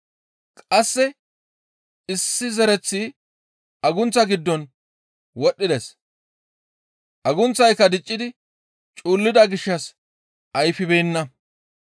Qasse issi zereththi agunththa giddon wodhdhides; agunththayka diccidi cuullida gishshas ayfibeenna.